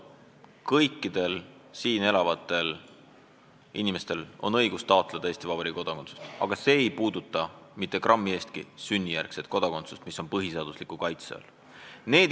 Kõikidel siin elavatel inimestel on õigus taotleda Eesti Vabariigi kodakondsust, aga see ei puuduta mitte grammi võrra sünnijärgset kodakondsust, mis on põhiseaduse kaitse all.